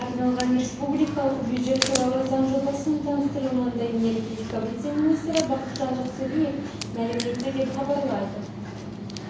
арналған республикалық бюджет туралы заң жобасының таныстырылымында энергетика вице-министрі бақытжан жақсалиев мәлім етті деп хабарлайды